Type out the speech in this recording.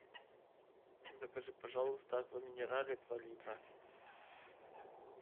закажи пожалуйста аква минерале два литра